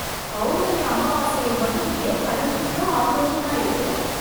பௌர்ணமி அமாவாசையில் மட்டும் ஏன் கடல் இவ்ளோ ஆக்ரோஷமா இருக்கு?